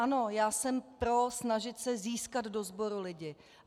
Ano, já jsem pro snažit se získat do sboru lidi.